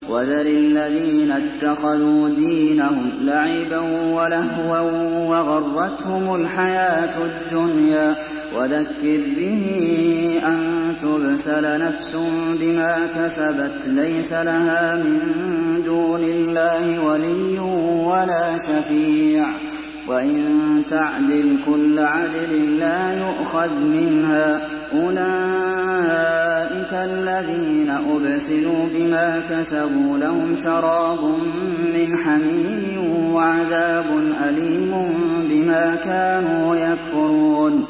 وَذَرِ الَّذِينَ اتَّخَذُوا دِينَهُمْ لَعِبًا وَلَهْوًا وَغَرَّتْهُمُ الْحَيَاةُ الدُّنْيَا ۚ وَذَكِّرْ بِهِ أَن تُبْسَلَ نَفْسٌ بِمَا كَسَبَتْ لَيْسَ لَهَا مِن دُونِ اللَّهِ وَلِيٌّ وَلَا شَفِيعٌ وَإِن تَعْدِلْ كُلَّ عَدْلٍ لَّا يُؤْخَذْ مِنْهَا ۗ أُولَٰئِكَ الَّذِينَ أُبْسِلُوا بِمَا كَسَبُوا ۖ لَهُمْ شَرَابٌ مِّنْ حَمِيمٍ وَعَذَابٌ أَلِيمٌ بِمَا كَانُوا يَكْفُرُونَ